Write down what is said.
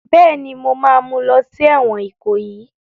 Bẹ́ẹ̀ni, mo ma mú lọ sí ẹ̀wọ̀n Ìkòyí